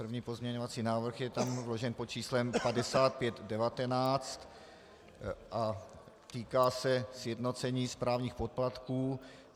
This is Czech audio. První pozměňovací návrh je tam vložen pod číslem 5519 a týká se sjednocení správních poplatků.